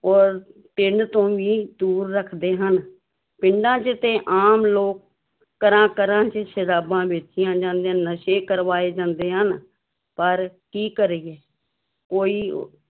ਔਰ ਪਿੰਡ ਤੋਂ ਵੀ ਦੂਰ ਰੱਖਦੇ ਹਨ ਪਿੰਡਾਂ ਚ ਤੇ ਆਮ ਲੋਕ ਘਰਾਂ ਘਰਾਂ ਵਿੱਚ ਸ਼ਰਾਬਾਂ ਵੇਚੀਆਂ ਜਾਂਦੀਆਂ, ਨਸ਼ੇ ਕਰਵਾਏ ਜਾਂਦੇ ਹਨ ਪਰ ਕੀ ਕਰੀਏ ਕੋਈ